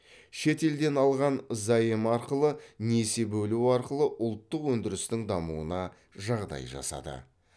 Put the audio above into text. шет елден алған заем арқылы несие бөлу арқылы ұлттық өндірістің дамуына жағдай жасады